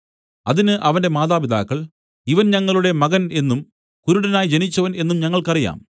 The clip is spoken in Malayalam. അതിന് അവന്റെ മാതാപിതാക്കൾ ഇവൻ ഞങ്ങളുടെ മകൻ എന്നും കുരുടനായി ജനിച്ചവൻ എന്നും ഞങ്ങൾക്കു അറിയാം